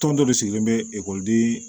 Tɔn dɔ de sigilen bɛ ekɔliden